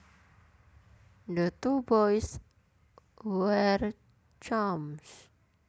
The two boys were chums